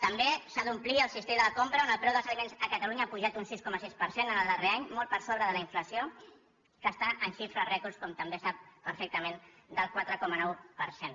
també s’ha d’omplir el cistell de la compra on el preu dels aliments a catalunya ha pujat un sis coma sis per cent en el darrer any molt per sobre de la inflació que està en xifres rècords com també ho sap perfectament del quatre coma nou per cent